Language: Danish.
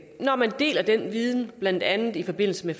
når man deler den viden blandt andet i forbindelse med